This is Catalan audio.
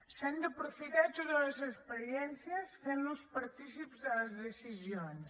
s’han d’aprofitar totes les experiències fent los partícips de les decisions